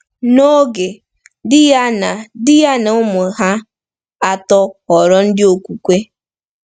N’oge, di ya na di ya na ụmụ ha atọ ghọrọ ndị okwukwe.